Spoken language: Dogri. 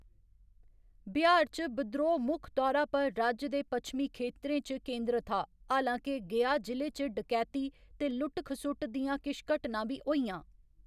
बिहार च बद्रोह मुक्ख तौरा पर राज्य दे पच्छमी खेतरें च केंद्रत हा, हालां के गया जि'ले च डकैती ते लुट्ट खसुट्ट दियां किश घटनां बी होइयां।